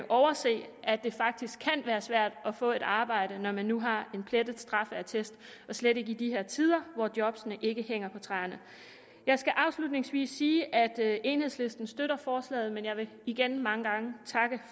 overse at det faktisk kan være svært at få et arbejde når man nu har en plettet straffeattest især i de her tider hvor jobbene ikke hænger på træerne jeg skal afslutningsvis sige at enhedslisten støtter forslaget men jeg vil igen takke mange gange